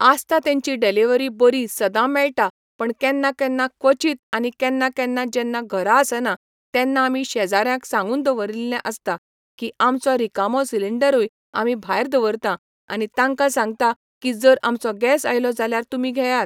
आसतां तेंची डिलीव्हरी बरी सदां मेळटा पण केन्ना केन्ना क्वचित आनी केन्ना केन्ना जेन्ना घरा आसना तेन्ना आमी शेजाऱ्यांक सांगून दवरिल्ले आसता की आमचो रिकामो सिंलिडरूय आमी भायर दवरतां आनी तांकां सांगता की जर आमचो गॅस आयलो जाल्यार तुमी घेयात.